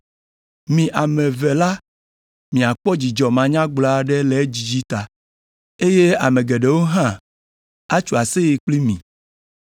Mi ame eve la miakpɔ dzidzɔ manyagblɔ aɖe le edzidzi ta, eye ame geɖewo hã atso aseye kpli mi,